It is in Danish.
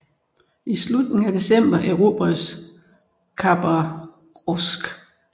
I slutningen af december erobredes Khabarovsk